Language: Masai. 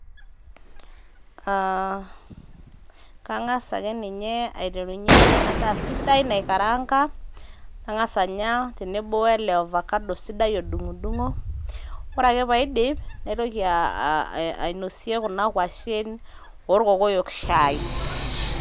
aa kangas ake ninye aiterunyie ena daa sidai naikaranaga nangas anya tenebo oelo vacado isidai odungdungo ore ake paidip naitoki aa ainosie kuna kwashen orkokoyok shai.